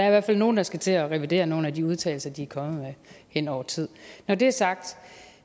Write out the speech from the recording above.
i hvert fald nogle der skal til at revidere nogle af de udtalelser de er kommet med hen over tid når det er sagt